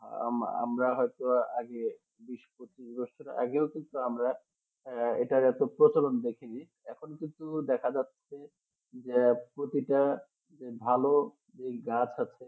আমরা হয়তো আগে বিশ পঁচিশ বছর আগে কিন্তু আমরা এটার প্রচলন দেখিনি এখন কিন্তু দেখা যাচ্ছে যে প্রতিটা ভাল এই গাছ আছে